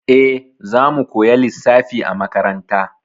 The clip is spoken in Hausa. E, za mu koya lissafi a makaranta.